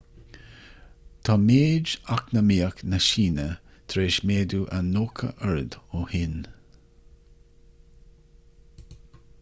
tá méid eacnamaíoch na síne tar éis méadú a 90 oiread ó shin